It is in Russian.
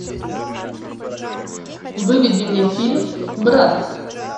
выведи мне фильм брат